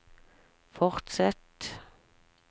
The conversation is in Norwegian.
fortsett